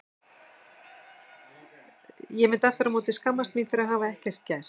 Ég myndi aftur á móti skammast mín fyrir að hafa ekkert gert.